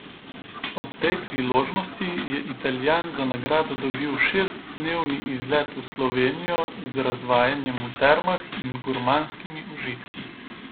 Ob tej priložnosti je Italijan za nagrado dobil šestdnevni izlet v Slovenijo z razvajanjem v termah in gurmanskimi užitki.